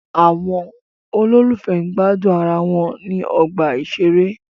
Àwọn olólùfẹ́ gbádùn ara wọn ní ọgbà ìṣeré.